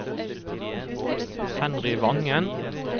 Henry Vangen